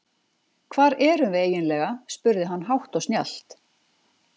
Hvar erum við eiginlega spurði hann hátt og snjallt.